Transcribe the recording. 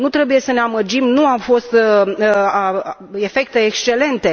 Nu trebuie să ne amăgim, nu au fost efecte excelente.